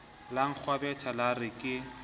la nkgwebetha la re ke